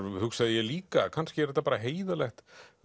hugsaði ég líka kannski er þetta bara heiðarlegt